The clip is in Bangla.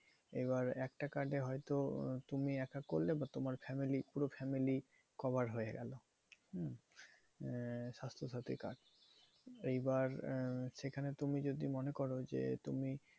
এবার একটা card এ হয়তো তুমি একা করলে বা তোমার family পুরো family cover হয়ে গেলো। হম আহ স্বাস্থ সাথী card. এইবার আহ সেখানে তুমি যদি মনে করো যে, তুমি